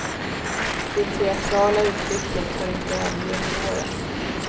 Det teatrala uttrycket har inte överlevt åren.